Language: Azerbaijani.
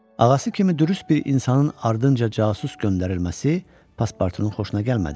Ağası kimi dürüst bir insanın ardınca casus göndərilməsi Paspartunun xoşuna gəlmədi.